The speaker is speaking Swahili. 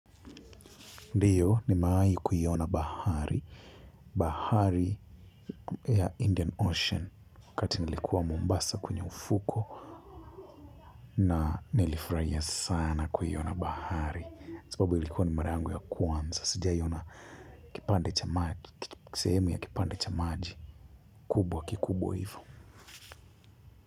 Ndiyo nimeai kuyiona bahari. Bahari ya Indian Ocean wakati nilikuwa Mombasa kwenye ufuko. Na nilifurahia sana kuiona bahari. Sababu ilikuwa ni mara yangu ya kwanza. Sijai ona kipande cha maji, sehemu ya kipande cha maji. Kubwa kikubwa hivo.